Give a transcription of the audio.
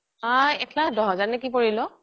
এক লাখ দহ হেজাৰ নে কি পৰিলও